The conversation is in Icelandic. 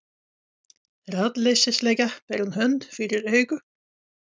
Ráðleysislega ber hún hönd fyrir augu.